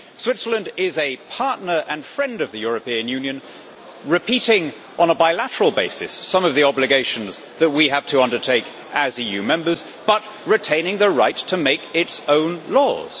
Switzerland is a partner and friend of the European Union, duplicating on a bilateral basis some of the obligations that we have to undertake as EU Member States but retaining the right to make its own laws.